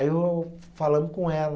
Aí eu falamos com ela.